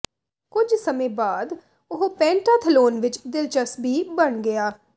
ਕੁਝ ਸਮੇਂ ਬਾਅਦ ਉਹ ਪੈਂਟਾਥਲੋਨ ਵਿਚ ਦਿਲਚਸਪੀ ਬਣ ਗਿਆ